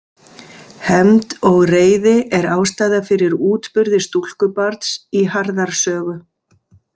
Hefnd og reiði er ástæða fyrir útburði stúlkubarns í Harðar sögu.